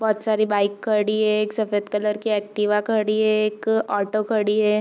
बहुत सारी बाइक खड़ी है एक सफ़ेद कलर की एक्टिवा खड़ी है एक ऑटो खड़ी है |